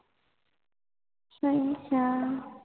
ਸਹੀ ਕਯਾ